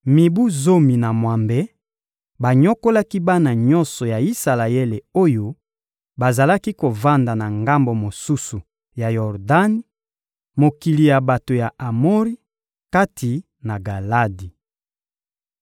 Mibu zomi na mwambe, banyokolaki bana nyonso ya Isalaele oyo bazalaki kovanda na ngambo mosusu ya Yordani, mokili ya bato ya Amori, kati na Galadi.